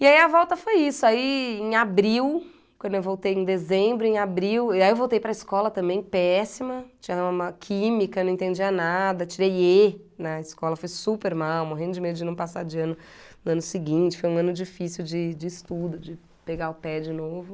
E aí a volta foi isso, aí em abril, quando eu voltei em dezembro, em abril, e aí eu voltei para escola também, péssima, tinha uma química, não entendia nada, tirei ê na escola, fui super mal, morrendo de medo de não passar de ano no ano seguinte, foi um ano difícil de de estudo, de pegar o pé de novo.